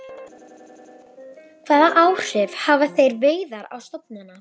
Hvaða áhrif hafa þeirra veiðar á stofnana?